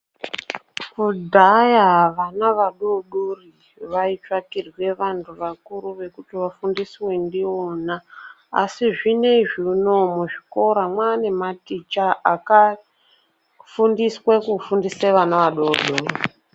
Kudhaya vana vadodori vaitsvakirwa vantu vakuru ,vekuti vafundiswe ndivona, asi zvinezvi unowu muzvikora mwane maticha akafundiswa kufundisa vana vadodori.